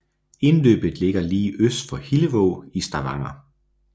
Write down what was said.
Indløbet ligger lige øst for Hillevåg i Stavanger